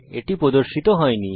এটি প্রদর্শিত হয়নি